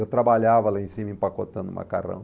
Eu trabalhava lá em cima empacotando macarrão.